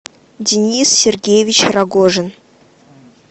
денис сергеевич рогожин